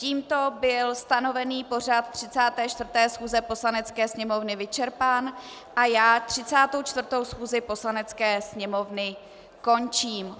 Tímto byl stanovený pořad 34. schůze Poslanecké sněmovny vyčerpán a já 34. schůzi Poslanecké sněmovny končím.